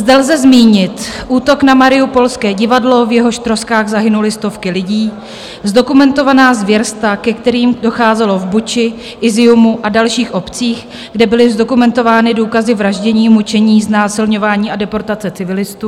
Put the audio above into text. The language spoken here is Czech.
Zde lze zmínit útok na mariupolské divadlo, v jehož troskách zahynuly stovky lidí, zdokumentovaná zvěrstva, ke kterým docházelo v Buči, Izjumu a dalších obcích, kde byly zdokumentovány důkazy vraždění, mučení, znásilňování a deportace civilistů.